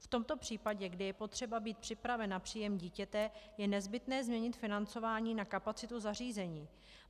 V tomto případě, kdy je potřeba být připraven na příjem dítěte, je nezbytné změnit financování na kapacitu zařízení.